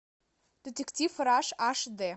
детектив раш аш дэ